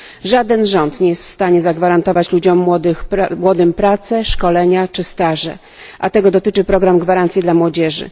Żaden rząd nie jest w stanie zagwarantować ludziom młodym pracy, szkoleń czy staży, a tego dotyczy program gwarancji dla młodzieży.